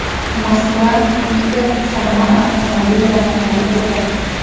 Moskva, Piter, Samara avtomobil raqamlari ko‘proq.